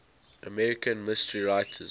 american mystery writers